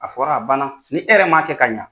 A fɔra a banna ni hɛrɛ ma kɛ ka ɲa